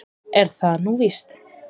Er það nú víst?